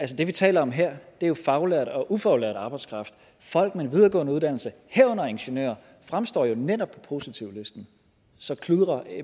det vi taler om her er jo faglært og ufaglært arbejdskraft og folk med en videregående uddannelse herunder ingeniører fremstår jo netop på positivlisten så kludrer